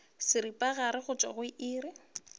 seripagare go tšwa go iri